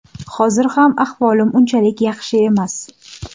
Hozir ham ahvolim unchalik yaxshi emas.